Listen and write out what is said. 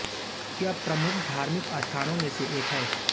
यह प्रमुख धार्मिल स्थानों में से एक है